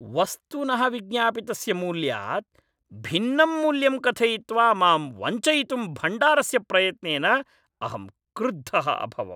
वस्तुनः विज्ञापितस्य मूल्यात् भिन्नं मूल्यं कथयित्वा मां वञ्चयितुं भण्डारस्य प्रयत्नेन अहं क्रुद्धः अभवम्।